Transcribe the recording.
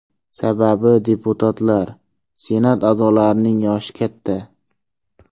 Sababi deputatlar, Senat a’zolarining yoshi katta.